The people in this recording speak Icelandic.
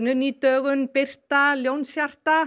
ný dögun Birta Ljónshjarta